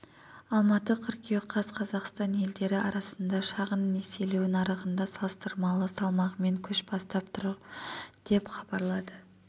алматы қыркүйек каз қазақстан елдері арасында шағын несиелеу нарығында салыстырмалы салмағымен көш бастап тұр деп хабарлады